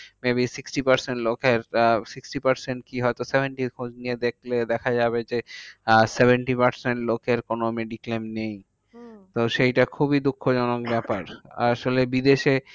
Maybe sixty percent লোকের uh sixty percent কি হয়ত? seventy খোঁজ নিয়ে দেখলে দেখা যাবে যে, আহ seventy percent লোকের কোনো mediclaim নেই। হম তো সেইটা খুবই দুঃখজনক ব্যাপার। আসলে বিদেশে